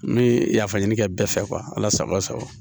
N bɛ yafa ɲini kɛ bɛɛ fɛ ala sago a sago